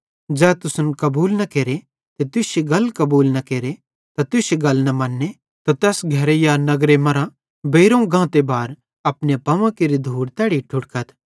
ज़ै तुसन कबूल न केरे ते तुश्शी गल न मन्ने त तैस घरे या नगर मरां बेइरोवं गांते बार अपने पावां केरि धूड़ तैड़ी झ़ैड़थ